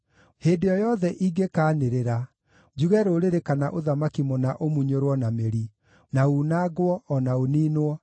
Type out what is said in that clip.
Hĩndĩ o yothe ingĩkaanĩrĩra, njuge rũrĩrĩ kana ũthamaki mũna ũmunyũrwo na mĩri, na unangwo, o na ũniinwo,